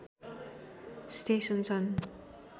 station छन्